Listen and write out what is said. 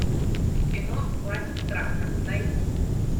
кино власть страха найти